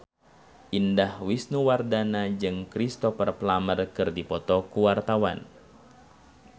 Indah Wisnuwardana jeung Cristhoper Plumer keur dipoto ku wartawan